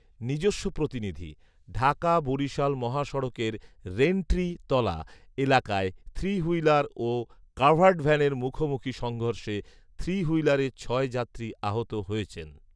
নিজস্ব প্রতিনিধিঃঢাকা বরিশাল মহাসড়কের রেইনট্রি তলা এলাকায় থ্রিহুইলার ও কাভার্ডভ্যানের মুখোমুখি সংঘর্ষে থ্রিহুইলারের ছয় যাত্রী আহত হয়েছেন